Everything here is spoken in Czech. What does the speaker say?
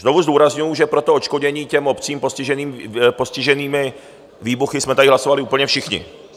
Znovu zdůrazňuji, že pro to odškodnění těm obcím postiženým výbuchy jsme tady hlasovali úplně všichni.